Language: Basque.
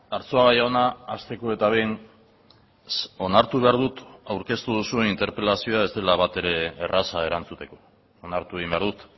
arzuaga jauna hasteko eta behin onartu behar dut aurkeztu duzuen interpelazioa ez dela batere erraza erantzuteko onartu egin behar dut